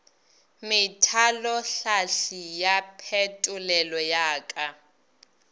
methalohlahli ya phetolelo ya ka